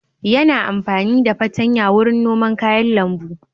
Yana amfani da fartanya wurin noman kayan lambu.